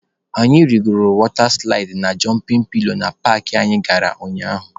Anyị rigoro wọta silaịdị na jọmpịn pilo na paakị anyị gara ụnyaahụ.